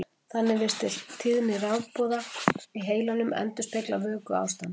Þannig virðist tíðni rafboða í heilanum endurspegla vökuástand.